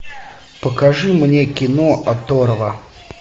покажи мне кино оторва